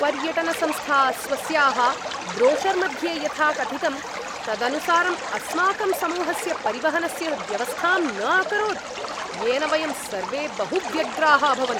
पर्यटनसंस्था स्वस्याः ब्रोशर् मध्ये यथा कथितं तदनुसारम् अस्माकं समूहस्य परिवहनस्य व्यवस्थां न अकरोत्, येन वयं सर्वे बहु व्यग्राः अभवन्।